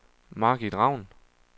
Margit Raun